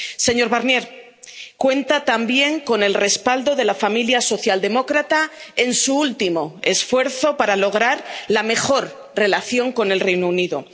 Señor Barnier, cuenta también con el respaldo de la familia socialdemócrata en su último esfuerzo para lograr la mejor relación con el Reino Unido.